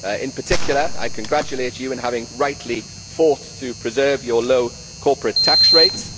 In particular I congratulate you in having rightly fought to preserve your low corporate tax rates